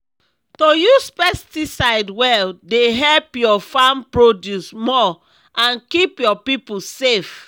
to use pesticide well dey help your farm produce more and keep your people safe.